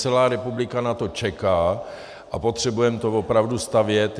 Celá republika na to čeká a potřebujeme to opravdu stavět.